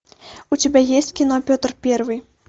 у тебя есть кино петр первый